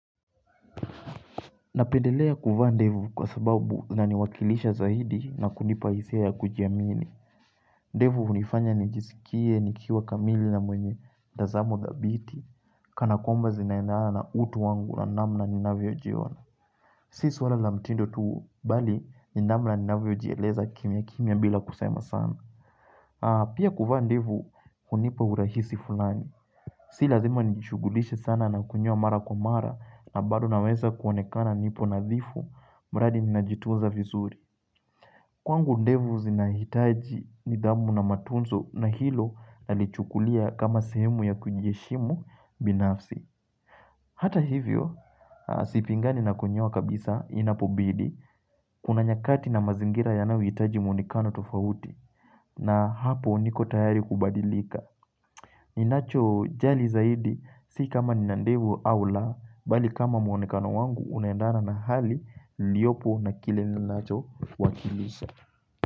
Napedelea kuvaa ndefu kwa sababu na niwakilisha zaidi na kunipa hisia ya kujiamini. Ndefu unifanya nijisikie nikiwa kamili na mwenye mtazamo thabiti. Kana kwamba zinaendana na utu wangu na namna ninavyojiona. Si suwala la mtindo tuu bali ni namna ni naviojieleza kimya kimya bila kusama sana. Pia kuvaa ndefu unipa urahisi fulani. Si lazima nijishugulishe sana na kunyoa mara kwa mara na badu naweza kuonekana nipo nazifu. Mbradi ninajitunza vizuri Kwangu ndevu zinahitaji ni dhamu na matunzo na hilo nalichukulia kama sehemu ya kujeshimu binafsi Hata hivyo, sipingani na kunyoa kabisa inapobidi Kuna nyakati na mazingira yanawi hitaji mwonekano tufauti na hapo uniko tayari kubadilika ninacho jali zaidi, si kama ninandevu au la bali kama mwonekano wangu unendana na hali niliopo na kile ninacho wakilisha.